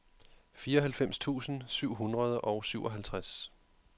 fireoghalvfems tusind syv hundrede og syvoghalvtreds